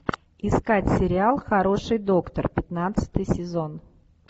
искать сериал хороший доктор пятнадцатый сезон